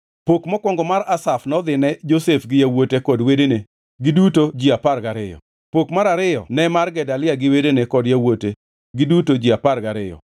Pok mokwongo mar Asaf nodhine Josef gi yawuote kod wedene, giduto ji apar gariyo, Pok mar ariyo ne mar Gedalia gi wedene kod yawuote, giduto ji apar gariyo,